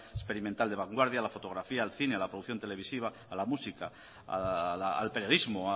experimental de vanguardia la fotografía el cine a la producción televisiva a la música al periodismo